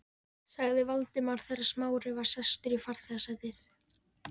sagði Valdimar þegar Smári var sestur í farþegasætið.